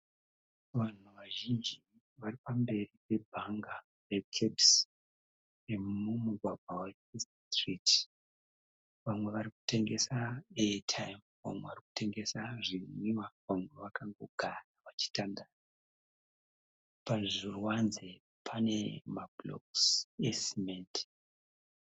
Vanhu vazhinji vari pa mberi pe bhaga re Cabs. Remumugwagwa we 1st street. Vamwe varikutengesa Air time vamwe varikutengesa zvinwiwa. Vamwe vakangogara vachitandara. Pazviruvanze pane na blocks e semende.